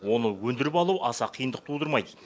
оны өндіріп алу аса қиындық тудырмайды